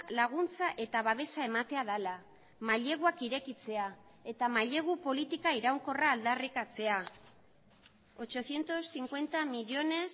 laguntza eta babesa ematea dela maileguak irekitzea eta mailegu politika iraunkorra aldarrikatzea ochocientos cincuenta millónes